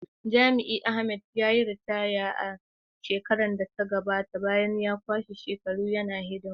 Jami’in Ahmed, ya yi ritaya a shekarar da ta gabata bayan ya kwashe shekaru yana hidima.